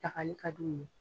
Pilakali ka di u ye.